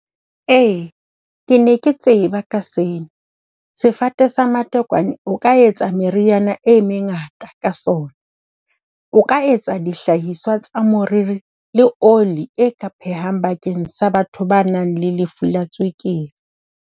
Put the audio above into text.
Ee, ke ne ke tseba ka seo, sefate sa matekwane o ka etsa meriana e mengata ka sona. O ka etsa dihlahiswa tsa moriri le oli e ka phehang bakeng sa batho ba nang le lefu la tswekere.